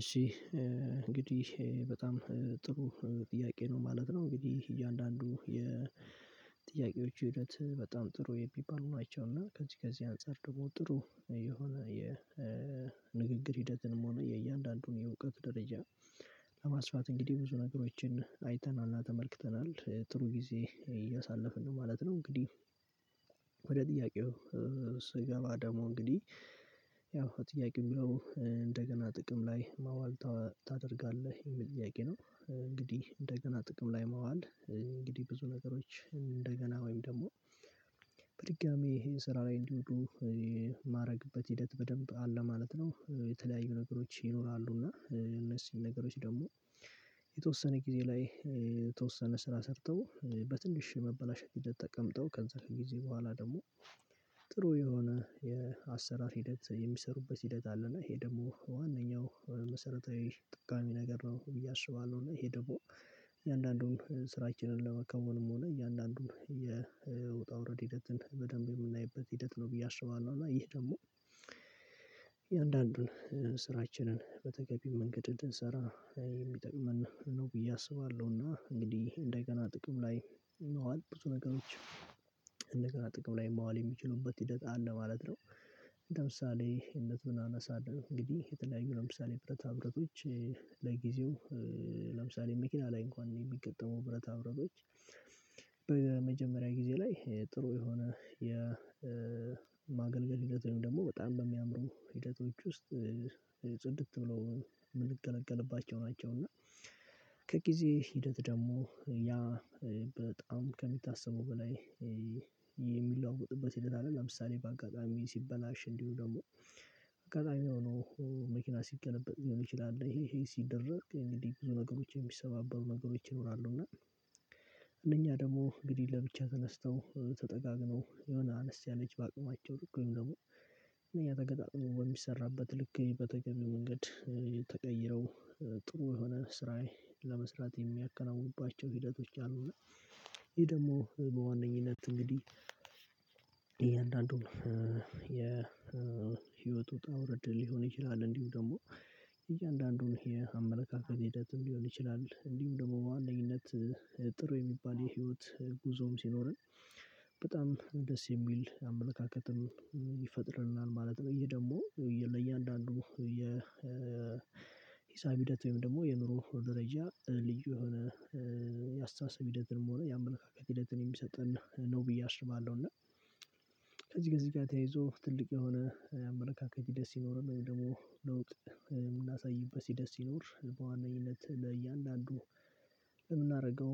እሺ እንግዲህ በጣም ጥሩ ጥያቄ ነው ማለት ነው እንግዲህ እያንዳንዱ የጥያቄዎች ሂደት በጣም ጥሩ የሚባሉ ናቸው እና ከዚህ ከዚህ አንፃር ደግሞ ጥሩ የሆነ የንግግር ሂደትንም ሆነ የእያንዳንዱን የእውቀት ደረጃ ለማስፋት እንግዲህ ብዙ ነገሮችን አይተናልና ተመልክተናል ጥሩ ጊዜ እያሳለፍን ነው ማለት ነው። እንግዲህ ወደ ጥያቄው ስገባ ደግሞ እንግዲህ ያው ጥያቄው የሚለው እንደገና ጥቅም ላይ ማዋል ታደርጋለህ የሚል ጥያቄ ነው እንግዲህ እንደገና ጥቅም ላይ ማዋል እንግዲህ ብዙ ነገሮች እንደገና ወይም ደግሞ በድጋሜ ይሄን ስራ ላይ እንዲወሉ የማረግበት ሂደት በደንብ አለ ማለት ነው። የተለያዩ ነገሮች ይኖራሉ እና እነዚህን ነገሮች ደግሞ የተወሰነ ጊዜ ላይ የተወሰነ ስራ ሰርተው በትንሽ መበላሸት ሂደት ተቀምጠው ከዛ ጊዜ በኋላ ደግሞ ጥሩ የሆነ የአሰራር ሂደት የሚሰሩበት ሂደት አለና ይሄ ደግሞ ዋናኛው መሰረታዊ ጥቃሚ ነገር ነው ብዬ አስባለው ነው። እና ይሄ ደግሞ እያንዳንዱን ስራችንን ለመከወንም ሆነ እያንዳንዱን የውጣ ውረድ ሂደትን በደንብ የምናይበት ሂደት ነው ብዬ አስባለሁ እና ይህ ደግሞ እያንዳንዱን ስራችንን በተገቢ መንገድ እንድንሰራ የሚጠቅመን ነው ብዬ አስባለሁ እና እንግዲህ እንደገና ጥቅም ላይ ማዋል ብዙ ነገሮች እንደገና ጥቅም ላይ ማዋል የሚችሉበት ሂደት አለ ማለት ነው። ለምሳሌ እነትን እናነሳለን እንግዲህ የተለያዩ ለምሳሌ ብረት ብረቶች ለጊዜው ለምሳሌ መኪና ላይ እንኳን የሚገጥመው ብረታ ብረቶች በመጀመሪያ ጊዜ ላይ ጥሩ የሆነ የማገልገል ሂደት ወይም ደግሞ በጣም በሚያምሩ ሂደቶች ውስጥ ጽድት ብለው የምንገለገልባቸው ናቸው እና ከጊዜ ሂደት ደግሞ ያ በጣም ከሚታሰበው በላይ የሚለዋወጥበት ሂደት አለ። ለምሳሌ በአጋጣሚ ሲበላሽ እንዲሁ ደግሞ አጋጣሚ ሆኖ መኪና ሲገለበጥ ሊሆን ይችላል። ይሄ ይሄ ሲደረግ እንግዲህ ብዙ ነገሮች የሚሰባበሩ ነገሮች ይኖራሉ እና እነኛ ደግሞ እንግዲህ ለብቻ ተነስተው ተጠጋግነው የሆነ አነስ ያለች በአቅማቸው ልክ ወይም ደግሞ እነኛ ተገጣጥሞ በሚሰራበት ልክ በተገቢው መንገድ ተቀይረው ጥሩ የሆነ ስራዬ ለመስራት የሚያከናውኑባቸው ሂደቶች አሉና ይህ ደግሞ በዋነኝነት እንግዲህ እያንዳንዱን የህይወት ውጣ ውርድ ሊሆን ይችላል። እንዲሁም ደግሞ እያንዳንዱን የ አመለካከት ሂደትም ሊሆን ይችላል እንዲሁም ደግሞ በዋነኝነት ጥሩ የሚባል የህይወት ጉዞም ሲኖረን በጣም ደስ የሚል አመለካከትን ይፈጥርልናል ማለት ነው። ይሄ ደግሞ ለእያንዳንዱ የ ሂሳብ ሂደት ወይም ደግሞ የኑሮ ደረጃ ልዩ የሆነ ያአስታሳሰብ ሂደትም ሆነ የአመለካከት ሂደትን የሚሰጠን ነው ብዬ አስባለሁ። እና ከዚህ ከዚህ ጋር ተያይዞ ትልቅ የሆነ አመለካከት ሂደት ሲኖረን ወይም ደግሞ ለውጥ የምናሳይበት ሂጀስ ሲኖር በዋናኝነት ለእያንዳንዱ የምናደርገው